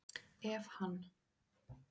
Ef hann